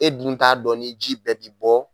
E dun t'a dɔn ni ji bɛɛ ti bɔ